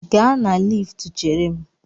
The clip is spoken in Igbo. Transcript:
Gaa na liftu chere m!